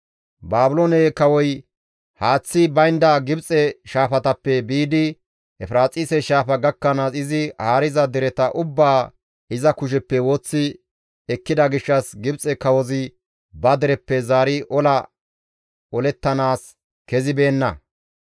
Baabiloone kawoy haaththi baynda Gibxe shaafatappe biidi Efiraaxise shaafa gakkanaas izi haariza dereta ubbaa iza kusheppe woththi ekkida gishshas Gibxe kawozi ba dereppe zaari ola olettanaas kezibeenna.